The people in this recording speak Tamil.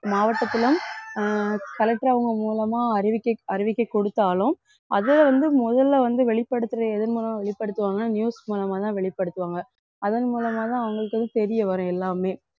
மாவட்டத்திலும் அஹ் collector அவங்க மூலமா அறிவிக்க~ அறிவிக்கை கொடுத்தாலும் அது வந்து முதல்ல வந்து வெளிப்படுத்துற எதன் மூலமா வெளிப்படுத்துவாங்க news மூலமா தான் வெளிப்படுத்துவாங்க அதன் மூலமா தான் அவங்களுக்கு வந்து தெரிய வரும் எல்லாமே